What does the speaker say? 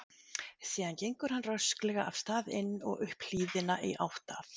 Síðan gengur hann rösklega af stað inn og upp hlíðina í átt að